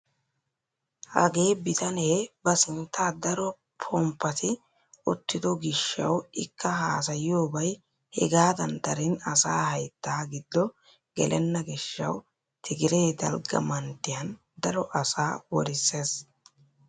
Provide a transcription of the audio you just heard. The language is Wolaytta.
Hagee bitanee ba sinttan daro ponppati uttido giishshawu ikka haasayiyoobay hegaadan darin asaa hayttaa giddo gelena giishshawu tigiree dalgga manttiyaan daro asaa worissees.